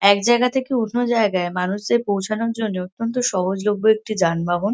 এক জায়গা থেকে অন্য জায়গায় মানুষদের পৌঁছানোর জন্য অত্যন্ত সহজলভ্য একটি যানবাহন।